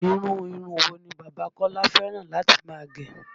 Irú irun wo ni bàbá Kọ́lá fẹ́ràn láti máa gẹ?